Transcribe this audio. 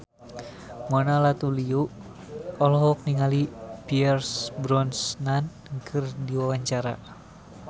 Mona Ratuliu olohok ningali Pierce Brosnan keur diwawancara